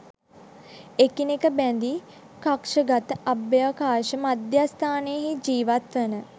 එකිනෙක බැඳි කක්ෂගත අභ්‍යවකාශ මධ්‍යස්ථාන හී ජීවත් වන